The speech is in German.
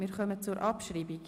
Wir kommen zur Abschreibung.